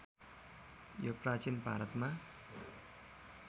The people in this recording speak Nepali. यो प्राचीन भारतमा